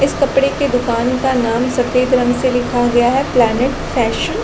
इस कपड़े की दुकान का नाम सफ़ेद रंग से लिखा गया है प्लेनेट फैशन --